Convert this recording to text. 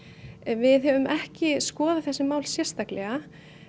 við höfum ekki skoðað þessi mál sérstaklega